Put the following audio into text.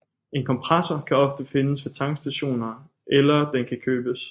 En kompressor kan ofte findes ved tankstationer eller den kan købes